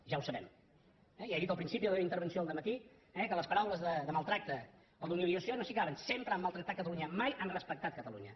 ja ho sabem eh ja he dit al principi de la meva intervenció al matí que les paraules de maltractament o d’humiliació no s’hi caben sempre han maltractat catalunya mai han respectat catalunya